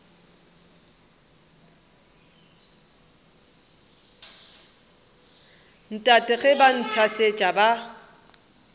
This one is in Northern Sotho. tate ge ba nthasetša ba